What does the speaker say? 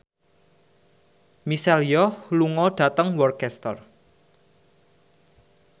Michelle Yeoh lunga dhateng Worcester